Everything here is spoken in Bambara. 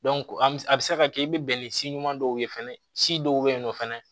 an bɛ a bɛ se ka kɛ i bɛ bɛn ni si ɲuman dɔw ye fɛnɛ si dɔw bɛ yen nɔ fana